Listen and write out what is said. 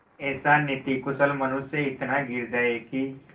ऐसा नीतिकुशल मनुष्य इतना गिर जाए कि